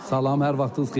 Salam, hər vaxtınız xeyir.